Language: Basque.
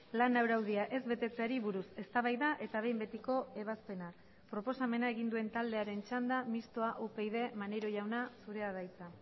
lan araudia ez betetzeari buruz eztabaida eta behin betiko ebazpena proposamena egin duen taldearen txanda mistoa upyd maneiro jauna zurea da hitza